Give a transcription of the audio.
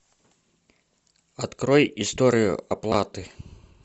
открой историю оплаты